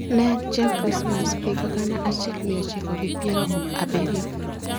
Ne en chieng' Krismas higa gana achiel mia ochiko gi piero abiriyo.